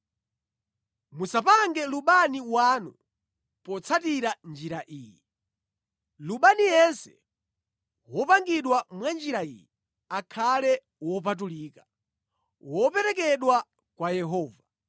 Musapange lubani wanu potsatira njira iyi. Lubani yense wopangidwa mwa njira iyi akhale wopatulika, woperekedwa kwa Yehova.